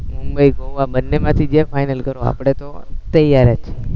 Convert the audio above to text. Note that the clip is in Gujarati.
મુબંઈ અને ગોવા બન્ને માથી જે ફાઈનલ કરો આપણે તો તેયાર જ છીએ